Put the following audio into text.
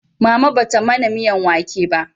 Mama ba ta mana miyan wake ba